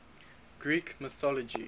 greek mythology